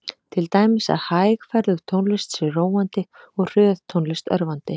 Til dæmis að hægferðug tónlist sé róandi og hröð tónlist örvandi.